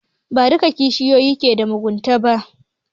Ba duka kishiyoyi ke da mugunta ba